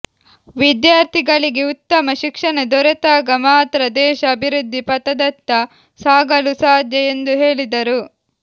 ವಿದ್ಯಾರ್ಥಿಗಳಿಗೆ ಉತ್ತಮ ಶಿಕ್ಷಣ ದೊರೆತಾಗ ಮಾತ್ರ ದೇಶ ಅಭಿವೃದ್ಧಿ ಪಥದತ್ತ ಸಾಗಲು ಸಾಧ್ಯ ಎಂದು ಹೇಳಿದರು